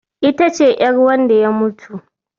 Ita ce ƴar wanda ya mutu